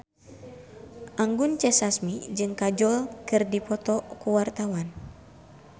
Anggun C. Sasmi jeung Kajol keur dipoto ku wartawan